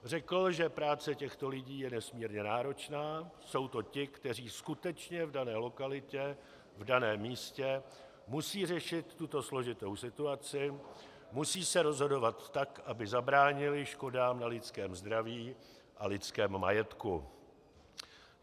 Řekl, že práce těchto lidí je nesmírně náročná, jsou to ti, kteří skutečně v dané lokalitě, v daném místě musí řešit tuto složitou situaci, musí se rozhodovat tak, aby zabránili škodám na lidském zdraví a lidském majetku.